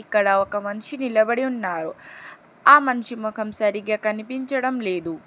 ఇక్కడ ఒక మన్షి నిలబడి ఉన్నారు ఆ మనిషి మొఖం సరిగ్గా కనిపించడం లేదు.